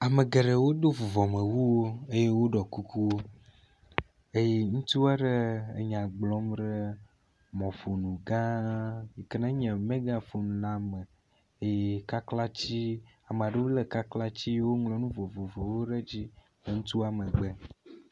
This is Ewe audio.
Ame geɖewo do vuvɔmewu eye woɖɔ kukuwo eye ŋutsu aɖe enya gblɔm ɖe mɔƒonu gã yike nenye megaphone la me eye kaklatsi ame aɖewo le kaklatsi woŋlɔ nu vovovowo ɖe edzi.